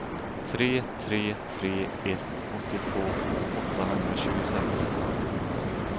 tre tre tre ett åttiotvå åttahundratjugosex